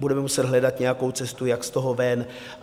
Budeme muset hledat nějakou cestu, jak z toho ven.